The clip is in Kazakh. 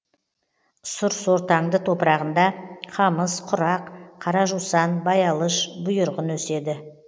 сұр сортаңды топырағында қамыс құрақ қара жусан баялыш бұйырғын өседі